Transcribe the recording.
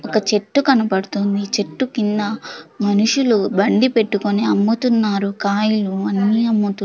ఒక చెట్టు కనబడుతుంది చెట్టు కింద మనుషులు బండి పెట్టుకొని అమ్ముతున్నారు కాయలు అన్నీ అమ్ముతు--